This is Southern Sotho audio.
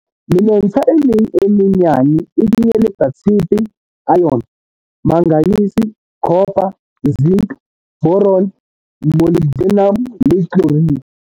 Menontsha e meng e menyane e kenyeletsa tshepe, iron, manganese, copper, zinc, boron, molybdenum le chlorine.